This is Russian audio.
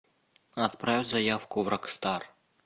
отправь заявку в рокстар